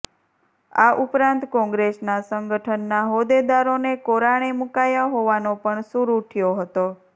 આ ઉપરાંત કોંગ્રેસના સંગઠનના હોદ્દેદારોને કોરાણે મૂકાયા હોવાનો પણ સૂર ઉઠયો હતો